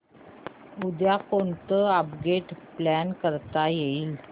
उद्या कोणतं upgrade plan करता येईल